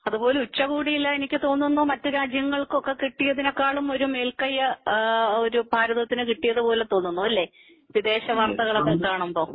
അതുപോലെ ഉച്ചകോടിയില് എനിക്ക് തോന്നുന്നു മറ്റ് രാജ്യങ്ങള് ഒക്കെ കിട്ടിയത്തിനെക്കാളും ഒരു മേൽ കൈ ഒരു ഭാരതത്തിന് കിട്ടിയത് പോലെ തോന്നുന്നു അല്ലേ വിദേശവാർത്തകൾ ഒക്കെ കാണുമ്പോൾ